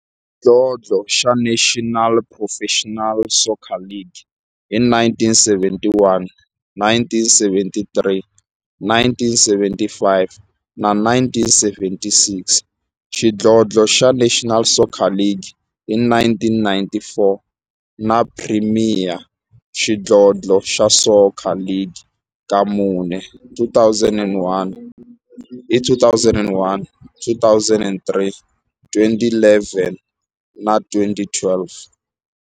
Xidlodlo xa National Professional Soccer League hi 1971, 1973, 1975 na 1976, xidlodlo xa National Soccer League hi 1994, na Premier Xidlodlo xa Soccer League ka mune, hi 2001, 2003, 2011 na 2012.